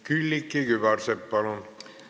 Külliki Kübarsepp, palun!